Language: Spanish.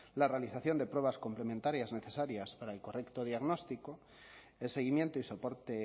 la realización de pruebas complementarias necesarias para el correcto diagnóstico el seguimiento y soporte